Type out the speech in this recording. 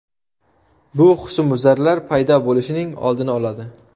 Bu husnbuzarlar paydo bo‘lishining oldini oladi.